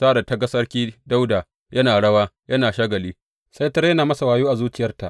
Sa’ad da ta ga Sarki Dawuda yana rawa yana shagali, sai ta rena masa wayo a zuciyarta.